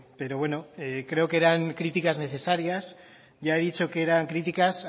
pero bueno creo que eran críticas necesarias ya he dicho que eran críticas